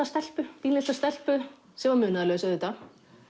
stelpu pínulitla stelpu sem var munaðarlaus auðvitað